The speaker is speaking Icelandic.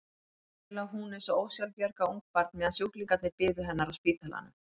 Hér lá hún eins og ósjálfbjarga ungbarn meðan sjúklingarnir biðu hennar á spítalanum.